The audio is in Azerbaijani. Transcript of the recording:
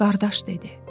Qardaş dedi.